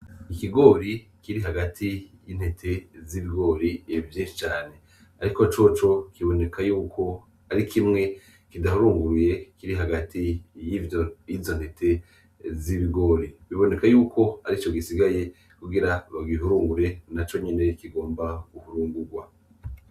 Ikigori kiri hagati y'intete z'ibigori evye cane, ariko coco kiboneka yuko ari kimwe kidahurunguruye kiri hagati yivyo izo ntete z'ibigori biboneka yuko ari co gisigaye kugira bagihurungure na co nyener kigomba guhurungurwa.